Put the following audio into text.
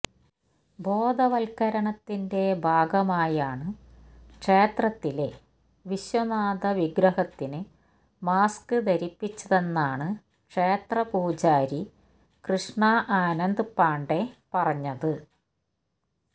ബോധവത്കരണത്തിന്റെ ഭാഗമായാണ് ക്ഷേത്രത്തിലെ വിശ്വനാഥ വിഗ്രഹത്തിന് മാസ്ക് ധരിപ്പിച്ചതെന്നാണ് ക്ഷേത്ര പൂജാരി കൃഷ്ണ ആനന്ദ് പാണ്ഡെ പറഞ്ഞത്